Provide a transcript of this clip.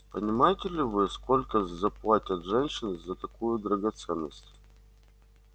понимаете ли вы сколько заплатят женщины за такую драгоценность